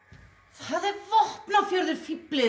það er Vopnafjörður fíflið